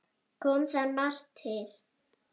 Kom þar margt til.